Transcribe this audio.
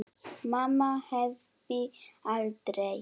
Mamma hefði aldrei.